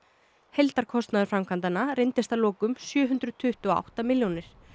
heildarkostnaður framkvæmdanna reyndist að lokum sjö hundruð tuttugu og átta milljónir